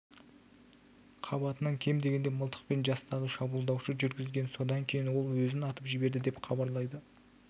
қабатынан кем дегенде мылтықпен жастағы шабуылдаушы жүргізген содан кейін ол өзін атып жіберді деп хабарлайды